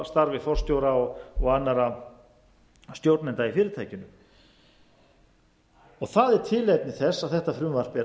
starfi forstjóra og annarra stjórnenda í fyrirtækinu það er tilefni þess að þetta frumvarp er